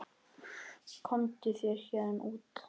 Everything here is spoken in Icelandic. Komdu þér héðan út.